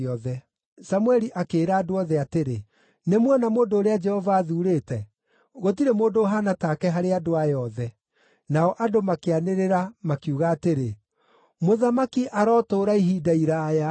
Samũeli akĩĩra andũ othe atĩrĩ, “Nĩmuona mũndũ ũrĩa Jehova athuurĩte? Gũtirĩ mũndũ ũhaana take harĩ andũ aya othe.” Nao andũ makĩanĩrĩra makiuga atĩrĩ, “Mũthamaki arotũũra ihinda iraaya!”